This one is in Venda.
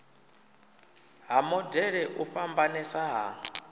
ha modele u fhambanesa ha